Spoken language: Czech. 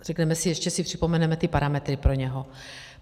Řekneme si, ještě si připomeneme ty parametry pro něho.